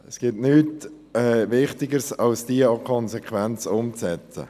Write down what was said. Es gibt nichts Wichtigeres, als diese auch konsequent umzusetzen.